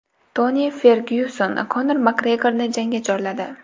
Toni Fergyuson Konor Makgregorni jangga chorladi.